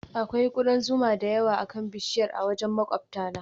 Akwai kudan zuma da yawa akan bishiyar a wajen maƙwabtana